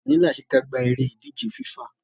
Òní lásekágbá eré ìdíje FIFA